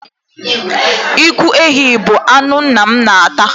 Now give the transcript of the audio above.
Ụkwụ ehi bụ anụ nna m na-ata.